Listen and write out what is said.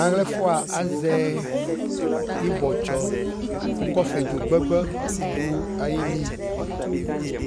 Awlabɛfua azɛ ibɔtsɔ ku kɔfɛ dzo gbagba du ayili